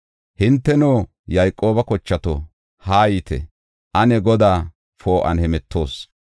Hinteno, Yayqooba kochato, haayite! Ane Godaa poo7uwan hemetoos.